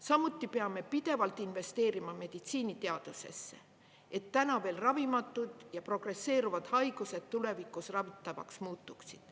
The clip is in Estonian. Samuti peame pidevalt investeerima meditsiiniteadusesse, et täna veel ravimatud ja progresseeruvad haigused tulevikus ravitavaks muutuksid.